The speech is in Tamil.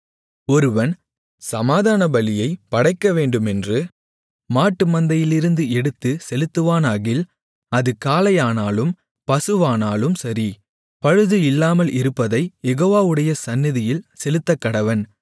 ஒருவன் சமாதானபலியைப் படைக்கவேண்டுமென்று மாட்டுமந்தையிலிருந்து எடுத்துச் செலுத்துவானாகில் அது காளையானாலும் பசுவானாலும் சரி பழுது இல்லாமலிருப்பதை யெகோவாவுடைய சந்நிதியில் செலுத்தக்கடவன்